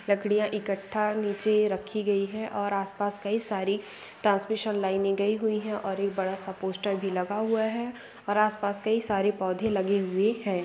लड़कियां इकट्ठा नीचे रखी गई है और आसपास कई सारी ट्रांसमिशन लाइन नहीं गई हुई है और एक बड़ा सा पोस्टर भी लगा हुआ है और आसपास कई सारे पौधे लगे हुए हैं ।